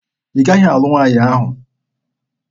Ị gaghị alụ nwaanyị ahụ!